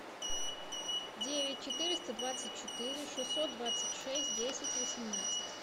девять четыреста двадцать четыре шестьсот двадцать шесть десять восемнадцать